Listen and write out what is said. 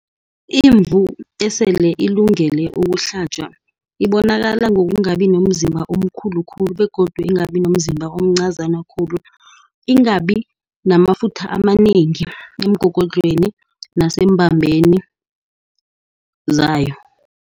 Imvu esele ilungele ukuhlatjwa ibonakala ngokungabi nomzimba omkhulu khulu. Begodu ingabi nomzimba omncazana khulu. Ingabi namafutha amanengi emgogodlweni nasembambeni zayo.